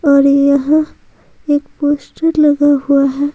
और यहां एक पोस्टर लगा हुआ है।